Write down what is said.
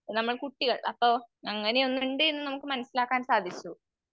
നമ്മുടെ കുട്ടികൾ അപ്പൊ അങ്ങനെയൊന്നുണ്ട് എന്ന് നമുക്ക് മനസ്സിലാക്കാൻ സാധിച്ചു.